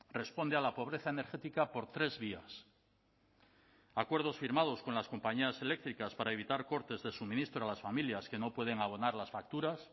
responde a la pobreza energética por tres vías acuerdos firmados con las compañías eléctricas para evitar cortes de suministro a las familias que no pueden abonar las facturas